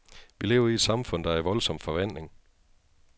Vi lever i et samfund, der er i voldsom forvandling.